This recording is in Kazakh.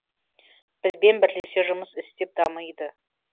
бізбен бірлесе жұмыс істеп дамиды